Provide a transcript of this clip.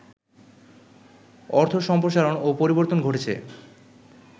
অর্থ সম্প্রসারণ ও পরিবর্তন ঘটেছে